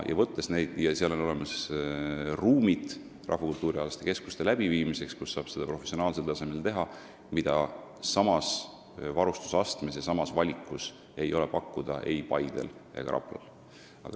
Ja Viljandis on olemas rahvakultuurialaste koolituste läbiviimiseks ruumid, kus saab seda teha professionaalsel tasemel ning mida samas varustus- ja valikuastmes ei ole pakkuda ei Paidel ega Raplal.